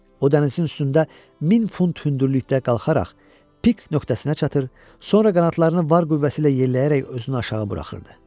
O dənizin üstündə min fut hündürlükdə qalxaraq pik nöqtəsinə çatır, sonra qanadlarını var qüvvəsi ilə yelləyərək özünü aşağı buraxırdı.